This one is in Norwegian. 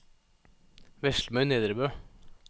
Veslemøy Nedrebø